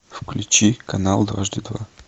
включи канал дважды два